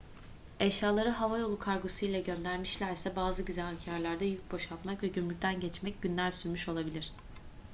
eşyaları havayolu kargosu ile göndermişlerse bazı güzergâhlarda yük boşaltmak ve gümrükten geçmek günler sürmüş olabilir